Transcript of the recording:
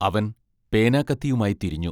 അവൻ പേനാക്കത്തിയുമായി തിരിഞ്ഞു...